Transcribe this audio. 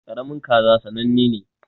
Karamin kaza sannane ne.